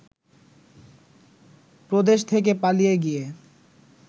প্রদেশ থেকে পালিয়ে গিয়ে